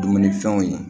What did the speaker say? Dumunifɛnw ye